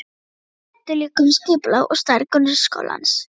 Þau ræddu líka um skipulag og stærð grunnskólans.